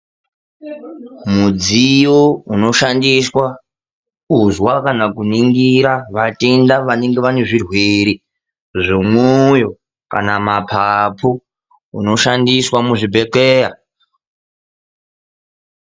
Mudziyo unoshandiswa kuzwa kana kuningira vatenda vanenge vane zvirwere zvemoyo kana mapapu unoshandiswa muzvibhedhlera.